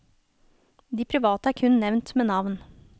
De private er kun nevnt med navn.